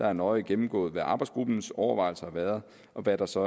er nøje gennemgået hvad arbejdsgruppens overvejelser har været og hvad der så